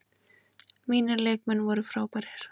Mínir leikmenn voru frábærir.